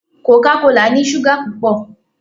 Coca kola ni súgà pupọ.